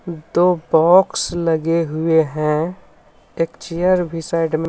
दो बॉक्स लगे हुए हैं एक चेयर भी साइड में--